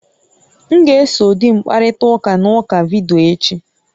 M ga-eso di m kparịta ụka na oku vidiyo echi